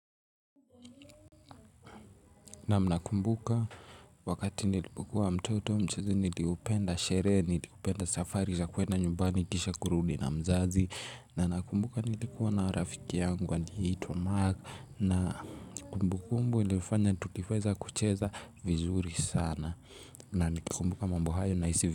Naam nakumbuka wakati nilipokuwa mtoto mchezo niliupenda, sherehe nilipenda, safari za kuenda nyumbani kisha kurudi na mzazi. Na nakumbuka nilikuwa na rafiki yangu aliyeitwa mark na kumbukumbu ilifanya tukifeza kucheza vizuri sana. Na nikumbuka mambo hayo nahisi vizuri.